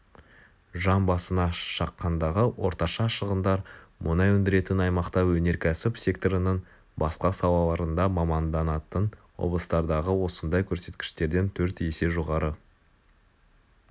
жан басына шаққандағы орташа шығындар мұнай өндіретін аймақта өнеркәсіп секторының басқа салаларында маманданатын облыстардағы осындай көрсеткіштерден төрт есе жоғары